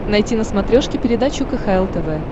найти на смотрешке передачу кхл тв